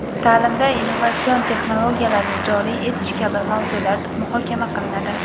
ta’limda innovatsion texnologiyalarni joriy etish kabi mavzular muhokama qilinadi.